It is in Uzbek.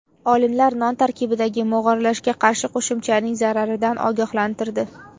Olimlar non tarkibidagi mog‘orlashga qarshi qo‘shimchaning zararidan ogohlantirdi.